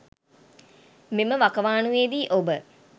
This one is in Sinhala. මෙම වකවානුවේදී ඔබ